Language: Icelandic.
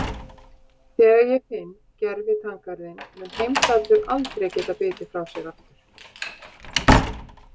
Þegar ég finn gervitanngarðinn mun Heimdallur aldrei geta bitið frá sér aftur